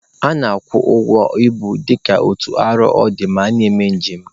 A na-akwụ ụgwọ ibu dịka otu arọ ọ dị ma a na-eme njem